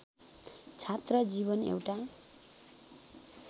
छात्र जीवन एउटा